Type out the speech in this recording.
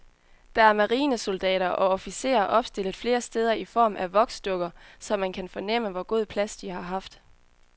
Der er marinesoldater og officerer opstillet flere steder i form af voksdukker, så man kan fornemme, hvor god plads de har haft.